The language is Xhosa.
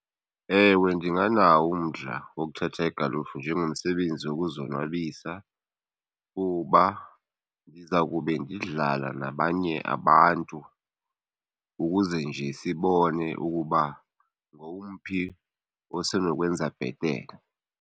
Ewe ndinganawo umdla wokuthatha igalufu njengomsebenzi wokuzonwabisa kuba ndiza kube ndidlala nabanye abantu ukuze nje sibone ukuba ngowumphi osenokwenza bhetele.